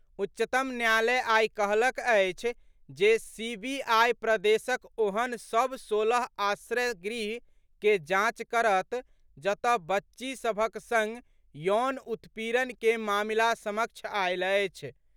उच्चतम न्यायालय आई कहलक अछि जे सीबीआई प्रदेशक ओहेन सभ सोलह आश्रय गृह के जांच करत जतऽ बच्ची सभक संग यौन उत्पीड़न के मामिला समक्ष आयल अछि।